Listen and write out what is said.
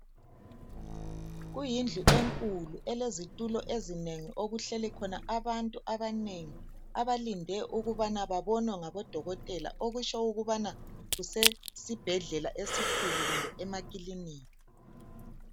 Kuyindlu enkulu elezitulo ezinengi okuhleli khona abantu abanengi abalinde ukubana babonwe ngabodokotela okutsho ukubana kusesibhedlela esikhulu kumbe emakilinika.